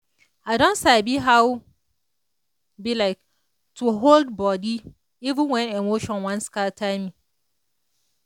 i don sabi how um to hold body even when emotion wan scatter me.